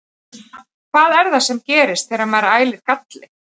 Hvað er það sem gerist þegar maður ælir galli?